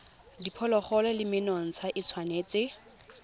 diphologolo le menontsha e tshwanetse